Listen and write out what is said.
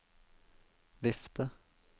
vifte